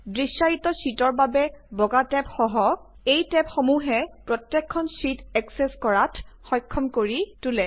দৃশ্যায়িত শ্বিটৰ বাবে বগা টেব সহ এই টেবসমূহে প্ৰত্যেকখন স্বকীয় শ্বিট এক্সেচ কৰাত সক্ষম কৰি তোলে